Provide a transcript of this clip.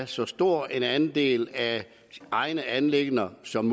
så stor en andel af egne anliggender som